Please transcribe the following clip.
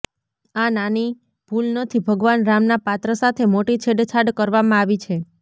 આ નાની ભૂલ નથી ભગવાન રામના પાત્ર સાથે મોટી છેડછાડ કરવામાં આવી છે